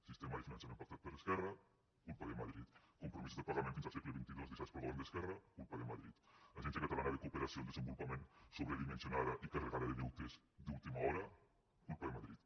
sistema de finançament pactat per esquerra culpa de madrid compromisos de pagament fins al segle xxii deixats pel govern d’esquerra culpa de madrid agència catalana de cooperació al desenvolupament sobredimensionada i carregada de deutes d’última hora culpa de madrid